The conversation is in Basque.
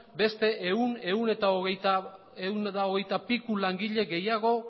beste ehun ehun eta hogeita piku langile gehiago